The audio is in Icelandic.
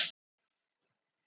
Við höldum veislu fram á nótt.